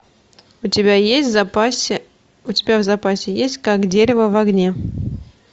у тебя есть в запасе у тебя в запасе есть как дерево в огне